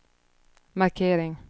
markering